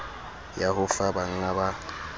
ya ho fa bangga ba